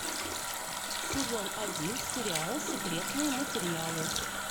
сезон один сериала секретные материалы